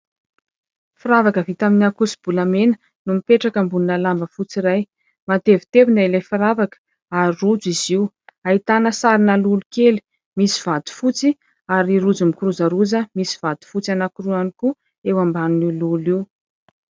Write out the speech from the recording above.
Firavaka vita amin'ny akoso-bolamena no mipetraka ambonina lamba fotsy iray. Matevitevina ilay firavaka ary rojo izy io ; ahitana sarina lolo kely misy vatofotsy ary rojo mikirozaroza misy vatofotsy anankiroa ihany koa eo ambanin'io lolo io.